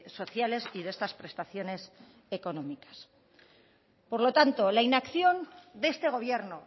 sociales y de estas prestaciones económicas por lo tanto la inacción de este gobierno